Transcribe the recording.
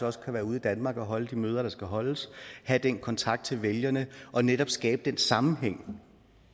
også kan være ude i danmark og holde de møder der skal holdes have den kontakt til vælgerne og netop skabe den sammenhæng